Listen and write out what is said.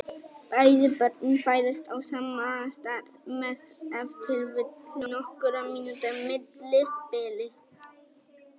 Bæði börnin fæðast á sama stað með ef til vill nokkurra mínútna millibili.